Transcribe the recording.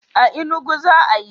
A Inugu za'a yi.